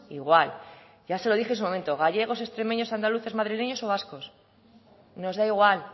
igual ya se lo dije en su momento gallegos extremeños andaluces madrileños o vascos nos da igual